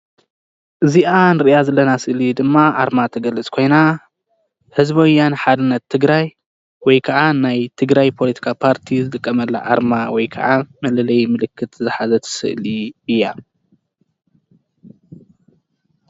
እዚአ ንሪአ ዘለና ስእሊ ድማ አርማ ትገልፅ ኮይና ህዝባዊ ወያነ ሓርነት ትግራይ ወይ ከዓ ናይ ትግራይ ፖሎቲካዊ ፓርቲ ዝጥቀመላ አርማ ወይ ከዓ መለለይ ምልክት ዝሓዘት ስእሊ እያ፡፡